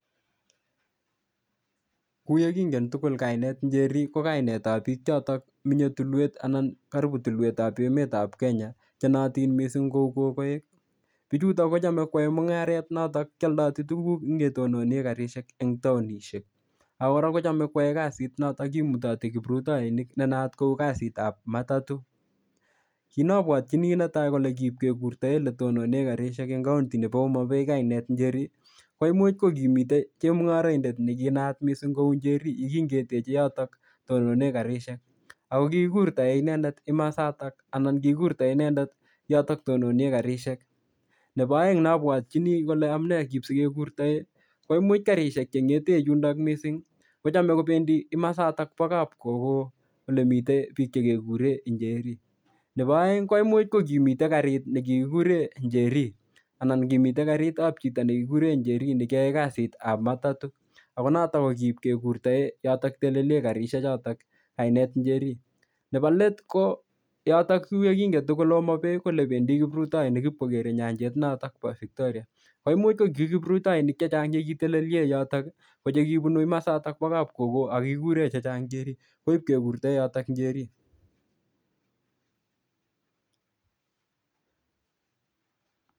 kou yekingen tuul kainet njeri kokainetab bik choton menye menye tulwet anan karipu tulwetab emetab kenya chenootin mising ko kokoek bichuto kochome koyoe mungaret notok kioldo tuguk en yetonen garishek en taonishek ak kora kochome koyoe kazit notok kimutoti kiprutoinik nenaat kokazitab matato kitneopwotyini neta konekipkekurtoen letononen garishek en county nepo homabay kainet njeri koimuch kokimiten chemungoroindet nekinaat missing kou njeri yekin keteche yotok tononen garishek ako kikurtoen inendet kimasotok anan kikurtoen inendet yotok tononen garishek nepo oeng neobwotyinin kole amunee sikekurtoen koimuch garishek chengeten yundo mising kochame kopendi imasatok bok kap kokoo ole miten biik chekekuren njeri nepo oeng koimuch kokimiten garit nekikuren njeri anan kimiten garitab chito nekikuren njeri nekiyoe kazitab matato ako notok kokiib kekurtoen yotok telelen garishek choton kainet njeri nepo let ko yotok kuo yekingen tugul homabay ko olependi kiprutoinik ip kokere nyanchet notok bo victoria koimuch ko ki kiprutoinik chechang chekitelelien yotok kokibunu imasatok bo kapkokoo ak kikuren chechang njeri koip kekurtoen yotok njeri